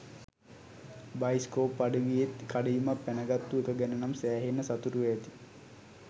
bioscope අඩවියෙත් කඩඉමක් පැනගත්තු එක ගැනනම් සෑහෙන්න සතුටු ඇති